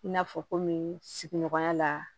I n'a fɔ kɔmi sigiɲɔgɔnya la